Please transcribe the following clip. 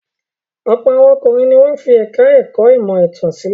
Ọ̀pọ̀ àwọn ọkùnrin ni wọ́n fi ẹ̀ka-ẹ̀kọ́ ìmọ̀-ìtàn sílẹ̀.